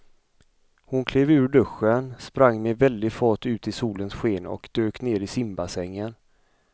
Hon klev ur duschen, sprang med väldig fart ut i solens sken och dök ner i simbassängen.